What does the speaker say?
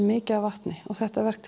mikið vatn þetta verk